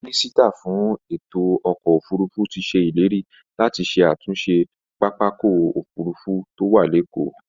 Mínísítà fún ètò ọkọ̀ òfurufú ti se ileri láti ṣe àtúnṣe pápákọ̀ òfurufú tó wà lékòó